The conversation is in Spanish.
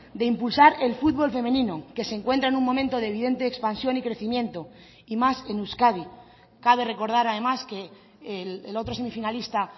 de impulsar el futbol femenino que se encuentra en un momento de evidente expansión y crecimiento y más en euskadi cabe recordar además que el otro semifinalista